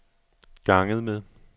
ganget med